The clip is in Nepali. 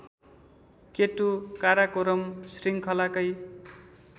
केटु काराकोरम श्रृङ्खलाकै